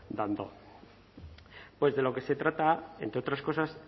dando pues de lo que se trata entre otras cosas